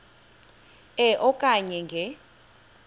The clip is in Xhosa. e okanye nge